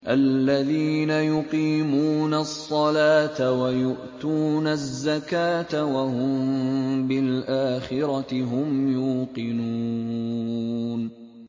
الَّذِينَ يُقِيمُونَ الصَّلَاةَ وَيُؤْتُونَ الزَّكَاةَ وَهُم بِالْآخِرَةِ هُمْ يُوقِنُونَ